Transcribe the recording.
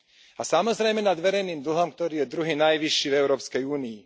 A samozrejme nad verejným dlhom, ktorý je druhý najvyšší v Európskej únii.